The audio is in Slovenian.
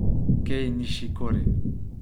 Kei Nišikori.